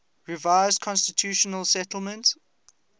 revised constitutional settlement